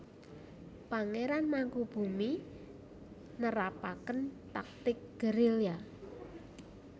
Pangéran Mangkubummi nerapaken taktik gerilya